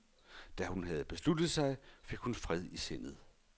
Da hun havde besluttet sig, fik hun fred i sindet.